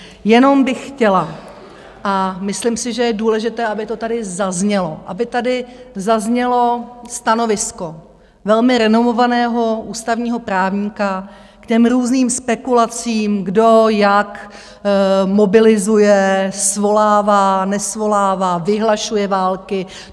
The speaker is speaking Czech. Jenom bych chtěla, a myslím si, že je důležité, aby to tady zaznělo, aby tady zaznělo stanovisko velmi renomovaného ústavního právníka k těm různým spekulacím, kdo jak mobilizuje, svolává, nesvolává, vyhlašuje války.